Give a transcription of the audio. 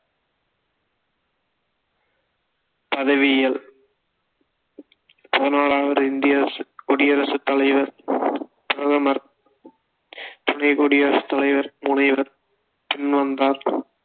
பதவியியல் பதினொராவது இந்திய குடியரசு தலைவர், பிரதமர், துணை குடியரசு தலைவர், முனைவர் பின் வந்தார்